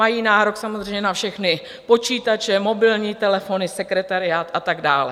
Mají nárok samozřejmě na všechny počítače, mobilní telefony, sekretariát a tak dále.